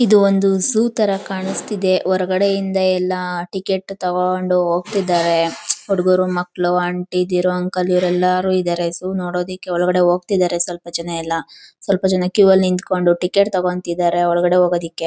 ಇದು ಒಂದ್ ಝೋ ತರ ಕನಿಸ್ತಿದೆ ಹೊರಗಡೆ ಇಂದ ಎಲ್ಲ ಟಿಕೆಟ್ ತಗೊಂಡ್ ಹೋಗ್ತಿದಾರೆ. ಹುಡುಗರು ಮಕ್ಕಳು ಆಂಟಿ ದ್ದಿರು ಅಂಕಲ್ ಇರು ಎಲ್ಲರೂ ಇದಾರೆ. ಝೋ ನೋಡೊದಕೆ ಒಳಗಡೆ ಹೋಗ್ತಿದಾರೆ ಸ್ವಲ್ಪ ಜನ ಎಲ್ಲ ಸ್ವಲ್ಪ ಜನ ಕ್ಯೂ ಅಲ್ಲಿ ನಿತ್ಕೊಂಡು ಟಿಕೆಟ್ ತಗೊಂತಿದ್ದರೆ ಒಳಗಡೆ ಹೋಗೋದಾಕೆ.